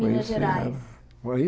Minas Gerais.